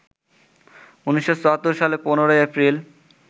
১৯৭৪ সালের ১৫ এপ্রিল